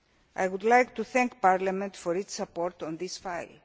fishing. I would like to thank Parliament for its support on